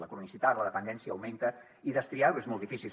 la cronicitat la dependència augmenten i destriar ho és molt difícil